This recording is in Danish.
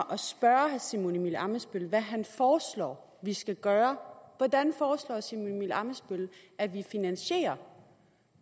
at simon emil ammitzbøll om hvad han foreslår vi skal gøre hvordan foreslår herre simon emil ammitzbøll at vi finansierer